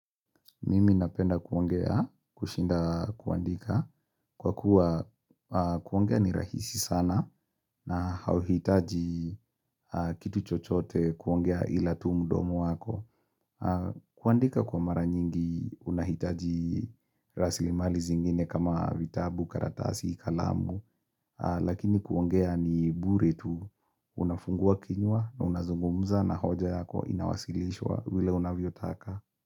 Mimi napenda kuongea, kushinda kuandika, kwa kuwa kuongea ni rahisi sana na hauhitaji kitu chochote kuongea ila tu mdomo wako. Kuandika kwa mara nyingi unahitaji raslimali zingine kama vitabu, karatasi, kalamu, lakini kuongea ni bure tu unafunguwa kinywa na unazungumza na hoja yako inawasilishwa vile unavyo taka.